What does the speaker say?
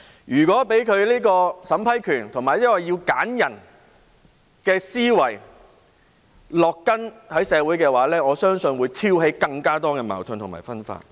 如果讓取回審批權和進行篩選的思維在社會植根的話，我相信會挑起更多矛盾及分化。